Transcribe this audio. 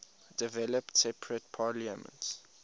developed separate parliaments